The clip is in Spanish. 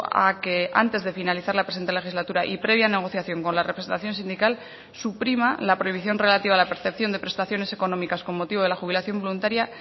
a que antes de finalizar la presente legislatura y previa negociación con la representación sindical suprima la prohibición relativa a la percepción de prestaciones económicas con motivo de la jubilación voluntaria